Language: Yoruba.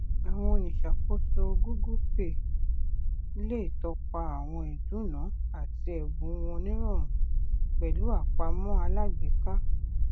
àwọn oníṣàkóso google pay lè tọpa àwọn ìduná àti ẹbùn wọn nirọrùn pẹlú àpamọ alágbèéká